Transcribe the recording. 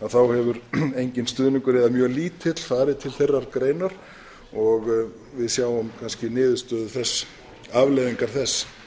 að þá hefur enginn stuðningur eða mjög lítill farið til þeirrar greinar og við sjáum kannski afleiðingar þess